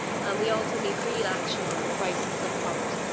We also need real action on the crisis of poverty.